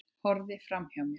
Horfði framhjá mér.